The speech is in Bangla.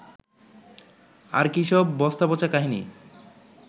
আর কী সব বস্তাপচা কাহিনি